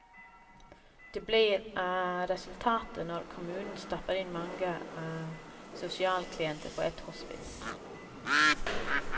Det blir resultatet når kommunen stapper inn mange sosialklienter på ett hospits.